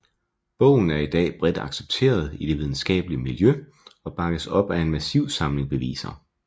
Bogen er i dag bredt accepteret i det videnskabelige miljø og bakkes op af en massiv samling beviser